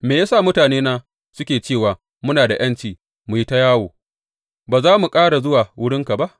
Me ya sa mutanena suke cewa, Muna da ’yanci mu yi ta yawo; ba za mu ƙara zuwa wurinka ba’?